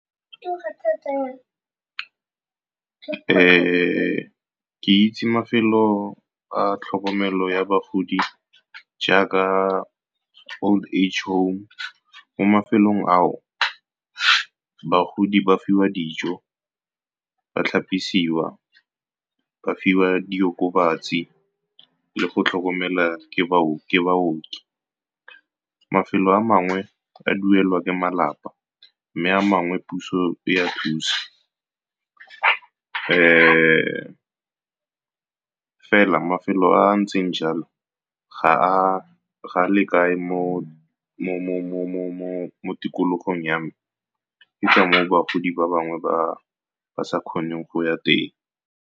Ke itse mafelo a tlhokomelo ya bagodi jaaka all age home, mo mafelong a o bagodi ba fiwa dijo, ba tlhapisiwa, ba fiwa diokobatsi, le go tlhokomelwa ke baoki. Mafelo a mangwe a duelwa ke malapa, mme a mangwe puso e a thusa. Fela mafelo a a ntseng jalo ga a lekane mo tikologong ya me, ke ka mo o bagodi ba bangwe ba sa kgoneng go ya teng.